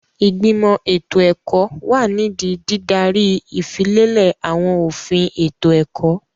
Ìgbìmọ̀ ètò ẹ̀kọ́ wà nídìí dídaríi ìfilélẹ̀ àwọn òfin ètò ẹ̀kọ́.